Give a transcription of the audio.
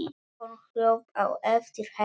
Hún hljóp á eftir henni.